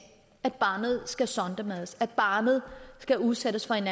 at barnet skal sondemades altså at barnet skal udsættes for en